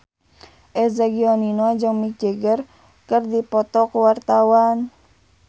Eza Gionino jeung Mick Jagger keur dipoto ku wartawan